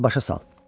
tez başa sal.